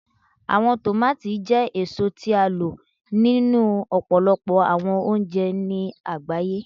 Awọn tomati jẹ eso ti a lo ninu ọpọlọpọ awọn ounjẹ ni agbaye